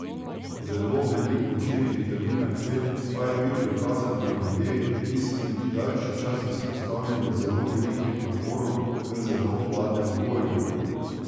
Zelo velik učinek vitamina C pa je bil dokazan pri ljudeh, ki so bili daljši čas izpostavljeni zelo velikim naporom v zelo hladnem okolju.